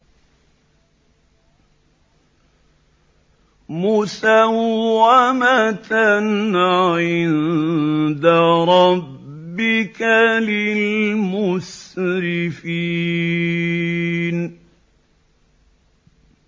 مُّسَوَّمَةً عِندَ رَبِّكَ لِلْمُسْرِفِينَ